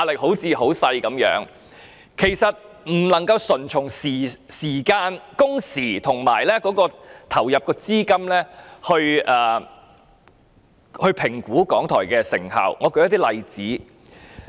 可是，我們不能單從製作時間、工時及所投放的資金來評估港台的成效，讓我舉一些例子來說明。